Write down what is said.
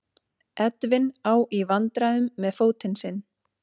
Edwin á í vandræðum með fótinn sinn.